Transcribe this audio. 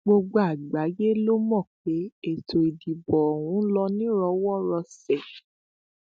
gbogbo àgbáyé ló mọ pé ètò ìdìbò ọhún ló nírọwọ rọsẹ